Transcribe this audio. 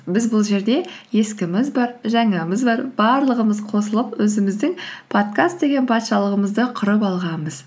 біз бұл жерде ескіміз бар жаңамыз бар барлығымыз қосылып өзіміздің подкаст деген патшалығымызды құрып алғанбыз